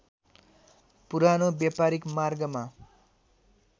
पुरानो व्‍यापारिक मार्गमा